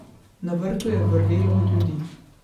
Na vrtu je vrvelo od ljudi.